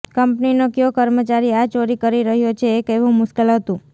કંપનીનો કયો કર્મચારી આ ચોરી કરી રહ્યો છે એ કહેવું મુશ્કેલ હતું